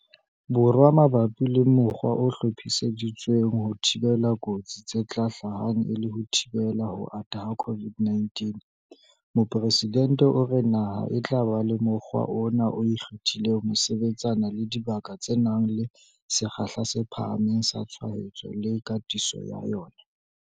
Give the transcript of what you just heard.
Borwa mabapi le mokgwa o hlophiseditsweng ho thibela kotsi tse ka hlahang e le ho thibela ho ata ha COVID-19, Mopresidente o re naha e tla ba le mokgwa ona o ikgethileng ho sebetsana le dibaka tse nang le sekgahla se phahameng sa tshwaetso le katiso ya yona.